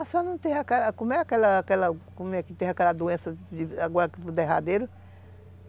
A senhora não teve aquela... Como é que teve aquela doença agora que foi por derradeiro?